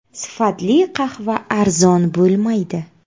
Sifatli qahva arzon bo‘lmaydi.